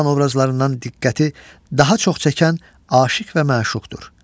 İnsan obrazlarından diqqəti daha çox çəkən aşiq və məşuqdur.